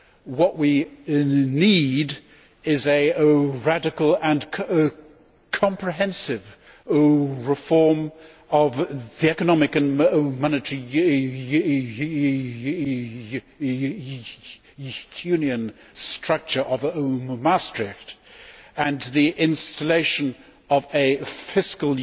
What we need is a radical and comprehensive reform of the economic and monetary union structure of Maastricht and the installation of a fiscal